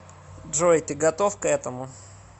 джой ты готов к этому